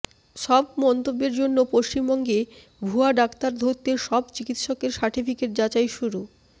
সব মন্তব্যের জন্য পশ্চিমবঙ্গে ভুয়া ডাক্তার ধরতে সব চিকিৎসকের সার্টিফিকেট যাচাই শুরু